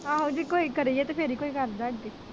ਆਹੋ ਜੇ ਕੋਈ ਕਰੀਏ ਤੇ ਫੇਰ ਹੀ ਕੋਈ ਕਰਦਾ ਹੈ